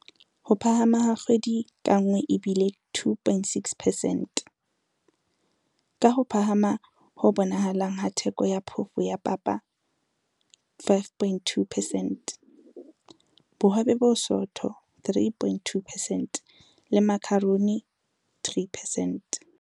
Ho phahama ha kgwedi ka nngwe e bile 2.6 percent, ka ho phahama ho bonahalang ha theko ya phofo ya papa 5.2 percent, bohobe bo bosootho 3.2 percent le makharoni 3 percent.